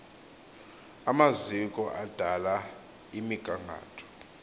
amaziko adala imigangatho